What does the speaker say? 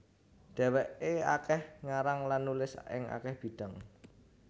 Dhèwèké akèh ngarang lan nulis ing akèh bidang